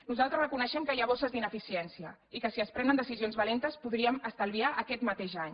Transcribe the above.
nosaltres reconeixem que hi ha bosses d’ineficiència i que si es prenen decisions valentes podríem estalviar aquest mateix any